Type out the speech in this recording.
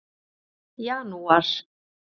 janúar